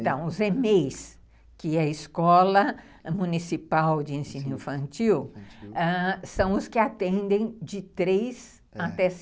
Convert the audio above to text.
Então, os EMEIs, que é a Escola Municipal de Ensino Infantil, são os que atendem de três até